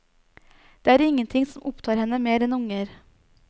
Det er ingenting som opptar henne mer enn unger.